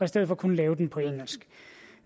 stedet for kun lave den på engelsk